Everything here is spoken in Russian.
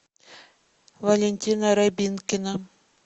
валентина рябинкина